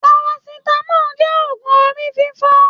Paracetamol jẹ́ ògún orí fífọ́.